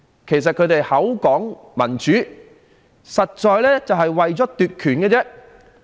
其實，他們口說民主，實際是為了奪權而已。